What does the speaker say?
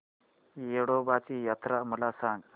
येडोबाची यात्रा मला सांग